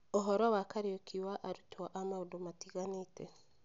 Ũhoro wa Kariuki wa arutwo a maũndũ matiganĩte.